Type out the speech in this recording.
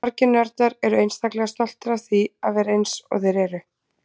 Margir nördar eru einstaklega stoltir af því að vera eins og þeir eru.